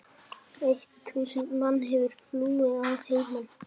Eitt þúsund manns hefur flúið að heiman.